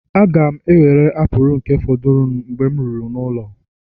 Aga m ewere apụl nke fọdụrụ Mgbe m ruru n'ụlọ